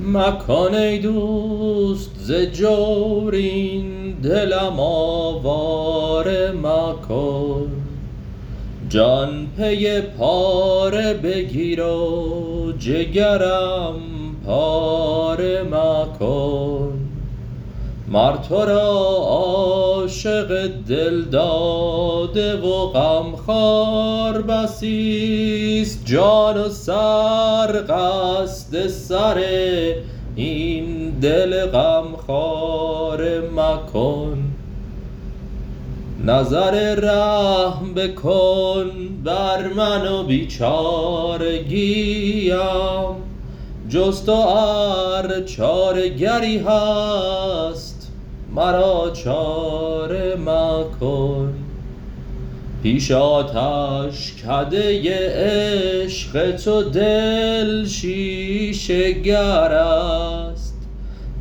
مکن ای دوست ز جور این دلم آواره مکن جان پی پاره بگیر و جگرم پاره مکن مر تو را عاشق دل داده و غمخوار بسی است جان و سر قصد سر این دل غمخواره مکن نظر رحم بکن بر من و بیچارگیم جز تو ار چاره گری هست مرا چاره مکن پیش آتشکده عشق تو دل شیشه گر است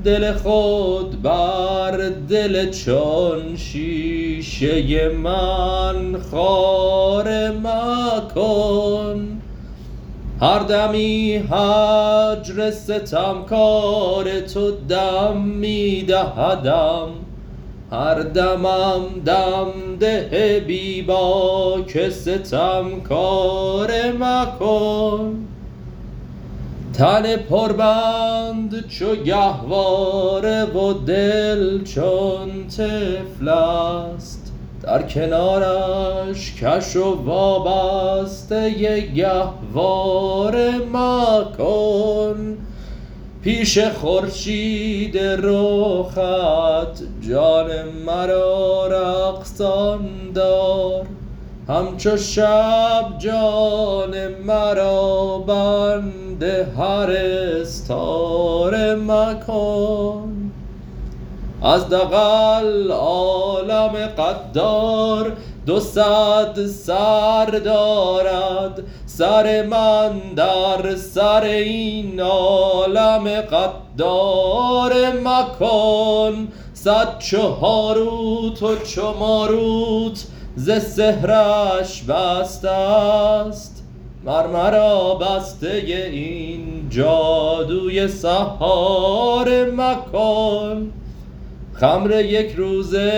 دل خود بر دل چون شیشه من خاره مکن هر دمی هجر ستمکار تو دم می دهدم هر دمم دم ده بی باک ستمکاره مکن تن پربند چو گهواره و دل چون طفل است در کنارش کش و وابسته گهواره مکن پیش خورشید رخت جان مرا رقصان دار همچو شب جان مرا بند هر استاره مکن ز دغل عالم غدار دو صد سر دارد سر من در سر این عالم غداره مکن صد چو هاروت و چو ماروت ز سحرش بسته ست مر مرا بسته این جادوی سحاره مکن خمر یک روزه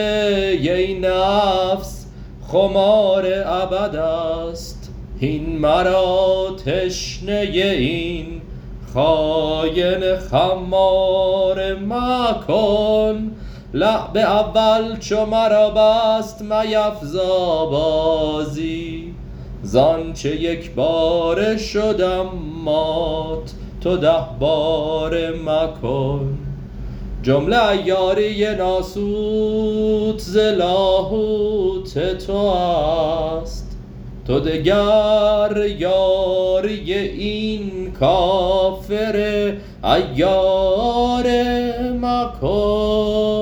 این نفس خمار ابد است هین مرا تشنه این خاین خماره مکن لعب اول چو مرا بست میفزا بازی ز آنچ یک باره شدم مات تو ده باره مکن جمله عیاری ناسوت ز لاهوت تو است تو دگر یاری این کافر عیاره مکن